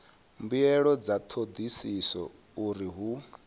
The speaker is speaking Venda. mbuelo dza thodisiso uri hu